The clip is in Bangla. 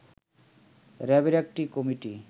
র‍্যাবের একটি কমিটি